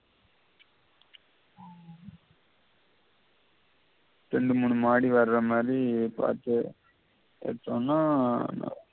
ரேண்டு மூணு மாடி வார மாதி பார்த்து எடுத்தோம்னா நல்லம்